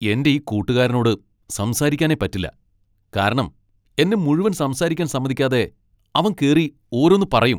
എന്റെ ഈ കൂട്ടുകാരനോട് സംസാരിക്കാനേ പറ്റില്ല., കാരണം എന്നെ മുഴുവൻ സംസാരിക്കാൻ സമ്മതിക്കാതെ അവൻ കേറി ഓരോന്ന് പറയും.